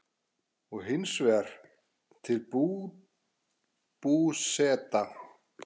og hins vegar til Búseta.